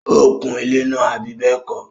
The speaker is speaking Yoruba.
ó kun ilẹ́ náà, àbí bẹ́ẹ̀kọ́?